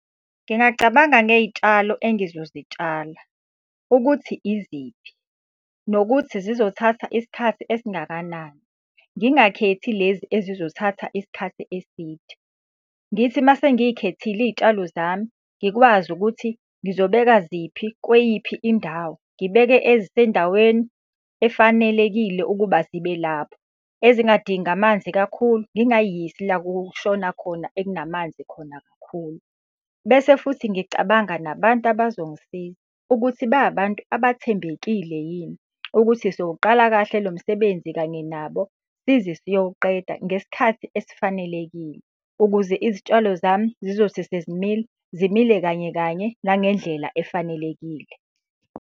Ngingacabanga ngey'tshalo engizozitshala, ukuthi iziphi nokuthi zizothatha isikhathi esingakanani, ngingakhethi lezi ezizothatha isikhathi eside. Ngithi uma sengikhethile iy'tshalo zami, ngikwazi ukuthi ngizobeka ziphi kweyiphi indawo. Ngibeke ezisendaweni efanelekile ukuba zibe lapho. Ezingadingi amanzi kakhulu, ngingay'yisi la kushona khona ekunamanzi khona kakhulu. Bese futhi ngicabanga nabantu abazongisiza, ukuthi ba abantu abathembekile yini. Ukuthi sowuqala kahle lo msebenzi kanye nabo, size siyowuqeda ngesikhathi esifanelekile. Ukuze izitshalo zami zizothi sezimila, zimile kanye kanye nangendlela efanelekile.